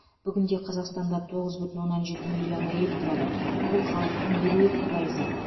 бүгінде қазақстанда тоғыз бүтін оннан жеті миллион әйел тұрады бұл халықтың елу екі пайызы